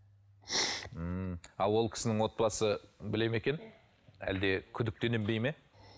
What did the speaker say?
ммм ал ол кісінің отбасы біледі ме екен әлде күдіктенбейді ме